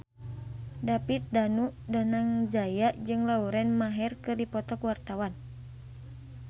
David Danu Danangjaya jeung Lauren Maher keur dipoto ku wartawan